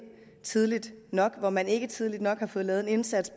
tidligt nok og hvor man ikke tidligt nok har fået lavet en indsats